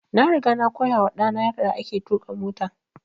Na riga na koya wa ɗa na yarda ake tuƙa mota